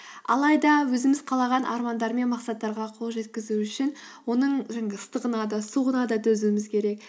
алайда өзіміз қалаған армандар мен мақсаттарға қол жеткізу үшін оның жаңағы ыстығына да суығына да төзуіміз керек